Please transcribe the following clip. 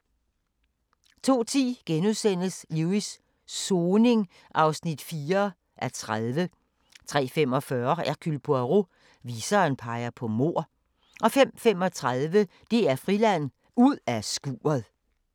02:10: Lewis: Soning (4:30)* 03:45: Hercule Poirot: Viseren peger på mord 05:35: DR Friland: Ud af skuret